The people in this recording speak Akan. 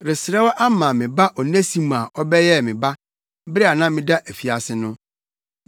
resrɛ wo ama me ba Onesimo a ɔbɛyɛɛ me ba, bere a na meda afiase no.